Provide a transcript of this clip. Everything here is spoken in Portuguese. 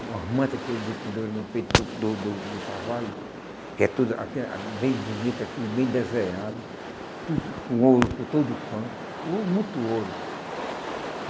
Umas manta que eles vem penduram no peito do do do do cavalo, que é tudo bem bonito, aquele bem desenhado, tudo com ouro por todo canto, oh muito ouro.